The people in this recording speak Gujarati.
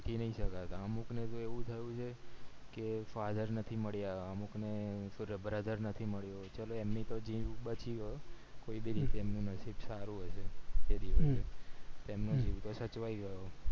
નય શકાય અમુક ને એવું થયું છે કે father નથી મળ્યા અમુક ને brother નથી મળ્યો ચલો એમની તો જીંદગી બધી ગયું પણ એ તેમનું નસીબ સારું હોય છે તેમનું જીવ તો સચવાય ગયો